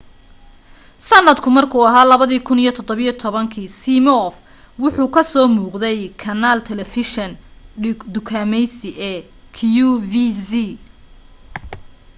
sanadka markuu ahaa 2017 simioff wuxuu ku so muuqday kanaal taleefeshin dukaamaysi ee qvc